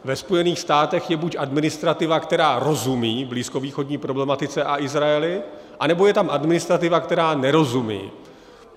Ve Spojených státech je buď administrativa, která rozumí blízkovýchodní problematice a Izraeli, anebo je tam administrativa, která nerozumí.